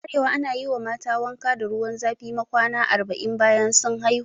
A arewa ana yi wa mata wanka da ruwa zafi ma kwana arba'in bayan sun haihu